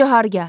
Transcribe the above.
Cahargah.